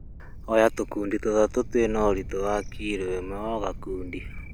Oya tũkundi tũtatũ twĩna ũritũ wa kirũ ĩmwe o gakundi.